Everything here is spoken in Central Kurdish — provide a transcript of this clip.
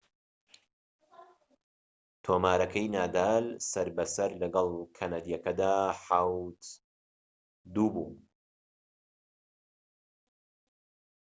تۆمارەکەی نادال سەر بە سەر لەگەڵ کەنەدیەکەدا ٧-٢ بوو